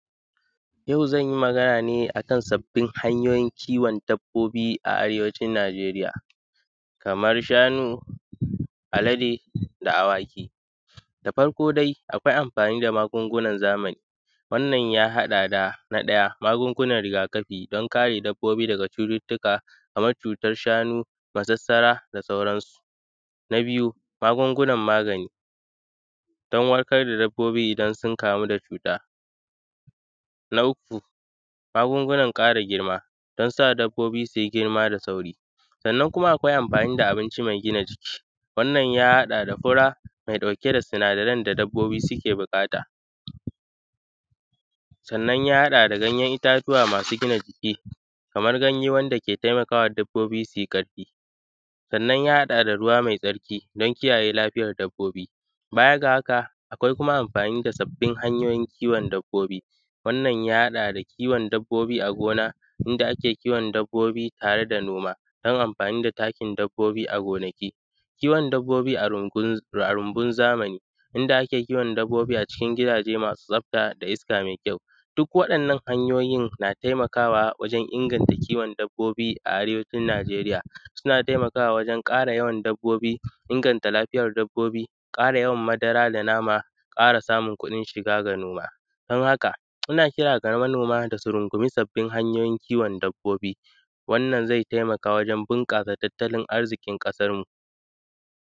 Yau zanyi magana ne akan sabbin hanyoyin kiwon dabbobi a arewacin Nijeriya, kamar shanu, alade da awaki, da farko dai, akwai amfani da magungunan zamani, wannan ya haɗa da na ɗaya, magungunan rigakafi don kare dabbobi daga cututtuka, kamar cutar shanu, masarsara da sauran su, na biyu, magungunan magani don warkar da dabbobi idan sun kamu da cuta, na uku, magungunan ƙara girma don sa dabbobi suyi girma da sauri, sannan kuma akwai amfani da abinci mai gina jiki, wannan ya haɗa da fura mai ɗauke da sinadaran da dabbobi suke buƙata, sannan ya haɗa da ganyen itatuwa masu gina jiki, kamar ganye wanda ke taimakawa dabbobi suyi ƙarfi, sannan ya haɗa da ruwa mai tsarki don kiyaye lafiyar dabbobi. Baya ga haka, akwai kuma amfani da sabbin hanyoyin kiwon dabbobi, wannan ya haɗa da kiwon dabbobi a gona, inda ake kiwon dabbobi tare da noma don amfani da takin dabbobi a gonaki. Kiwon dabbobi a rumbun zamani, inda ake kiwon dabbobi a cikin gidaje masu tsafta da iska mai kyau, duk waɗannan hanyoyi na taimakawa wajen inganta kiwon dabbobi a arewacin nijeriya. Suna taimakawa wajen ƙara yawan dabbobi, inganta lafiyar dabbobi, ƙara yawan madara da nama, ƙara samun kuɗin shiga ga noma don haka, ina kira ga manoma da su rungumi sabbin hanyoyin kiwon dabbobi, wannan zai taimaka wajen bunƙasa tattalin arziƙin ƙasar mu.